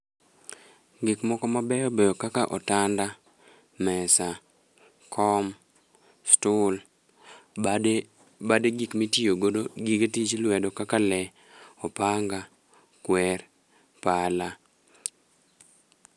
Gik moko ma beyo beyo kaka otanda, mesa, kom, stul, bade bade gik mitiyo godo gige tich lwedo kaka le, opanga, kwer, pala.